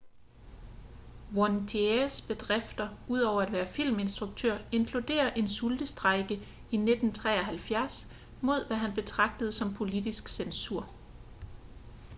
vautiers bedrifter ud over at være filminstruktør inkluderer en sultestrejke i 1973 mod hvad han betragtede som politisk censur